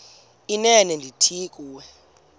inene ndithi kuwe